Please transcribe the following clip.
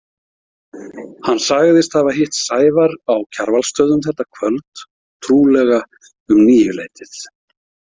Hann sagðist hafa hitt Sævar á Kjarvalsstöðum þetta kvöld, trúlega um níuleytið.